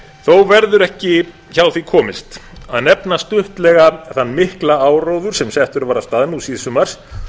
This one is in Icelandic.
þó verður ekki hjá því komist að nefna stuttlega þann mikla áróður sem settur var af stað nú síðsumars